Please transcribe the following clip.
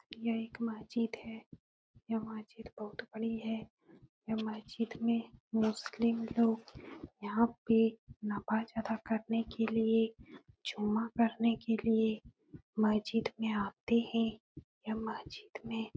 यह एक महजिद है। यह महजिद बहोत बड़ी है। यह महजिद में मुस्लिम लोग यहाँ पे नवाज अदा करने के लिए जुमा करने के लिए महजिद में आते हैं। यह मस्जिद में --